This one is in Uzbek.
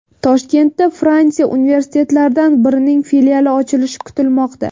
Toshkentda Fransiya universitetlaridan birining filiali ochilishi kutilmoqda.